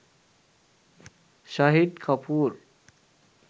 shahid kapoor